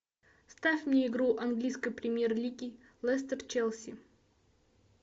ставь мне игру английской премьер лиги лестер челси